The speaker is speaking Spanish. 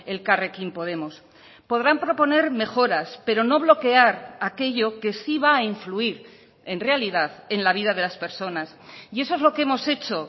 elkarrekin podemos podrán proponer mejoras pero no bloquear aquello que sí va a influir en realidad en la vida de las personas y eso es lo que hemos hecho